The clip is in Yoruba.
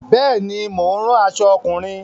Bẹ́ẹ̀ ni, mo ń ran aṣọ ọkùnrin.